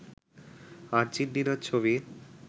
আর্জেন্টিনার ছবি